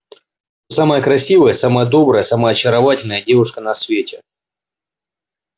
самая красивая самая добрая самая очаровательная девушка на свете